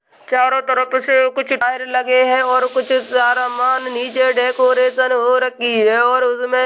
चारों तरफ से कुछ लगे हैं और कुछ सारा मान नीचे डेकोरेशन हो रखी है और उसमें --